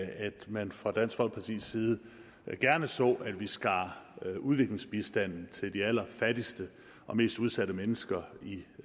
man fra dansk folkepartis side gerne så at vi skar udviklingsbistanden til de allerfattigste og mest udsatte mennesker